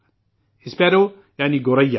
sparrow یعنی گوریا